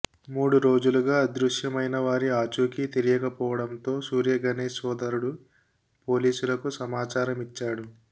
మూడు రోజులుగా అదృశ్యమైనవారి ఆచూకీ తెలియకపోవడంతో సూర్యగణేశ్ సోదరుడు పోలీసులకు సమాచారమిచ్చాడు